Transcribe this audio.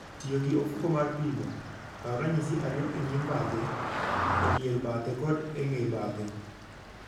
Tiyo gi ofuko mar pimo, kaw ranyisi ariyo e nyim bathe, e dier bathe kod e ng'e bathe.